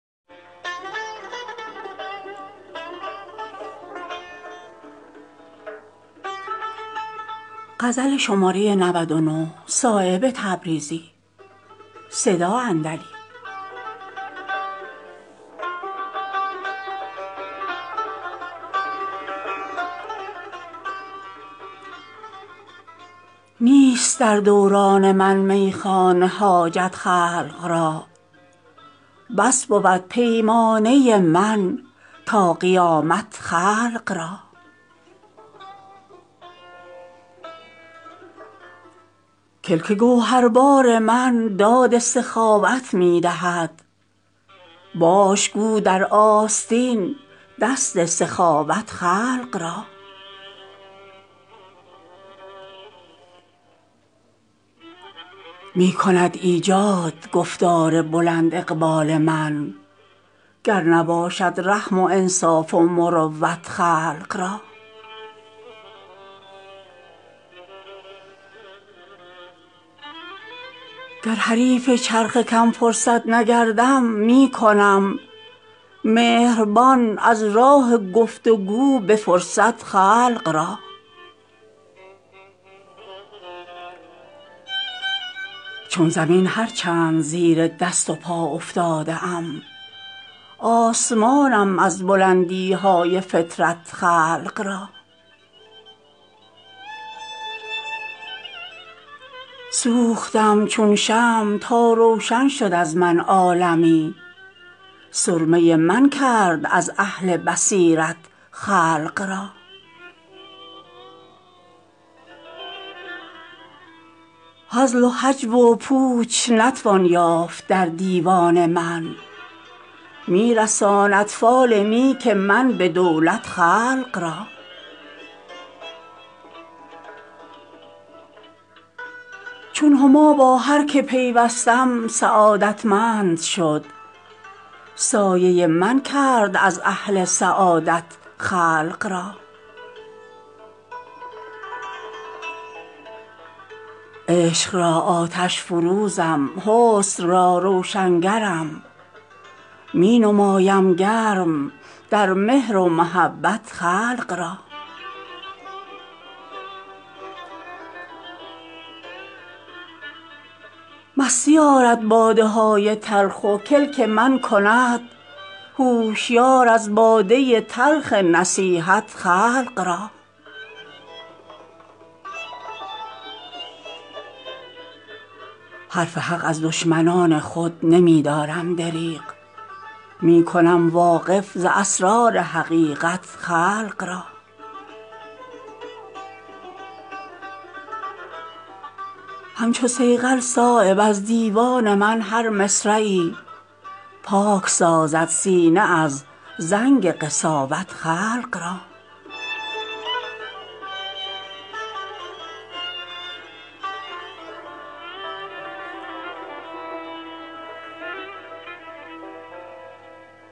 نیست در دوران من میخانه حاجت خلق را بس بود پیمانه من تا قیامت خلق را کلک گوهربار من داد سخاوت می دهد باش گو در آستین دست سخاوت خلق را می کند ایجاد گفتار بلند اقبال من گر نباشد رحم و انصاف و مروت خلق را گر حریف چرخ کم فرصت نگردم می کنم مهربان از راه گفت و گو به فرصت خلق را چون زمین هر چند زیر دست و پا افتاده ام آسمانم از بلندی های فطرت خلق را سوختم چون شمع تا روشن شد از من عالمی سرمه من کرد از اهل بصیرت خلق را هزل و هجو و پوچ نتوان یافت در دیوان من می رساند فال نیک من به دولت خلق را چون هما با هر که پیوستم سعادتمند شد سایه من کرد از اهل سعادت خلق را عشق را آتش فروزم حسن را روشنگرم می نمایم گرم در مهر و محبت خلق را مستی آرد باده های تلخ و کلک من کند هوشیار از باده تلخ نصیحت خلق را حرف حق از دشمنان خود نمی دارم دریغ می کنم واقف ز اسرار حقیقت خلق را همچو صیقل صایب از دیوان من هر مصرعی پاک سازد سینه از زنگ قساوت خلق را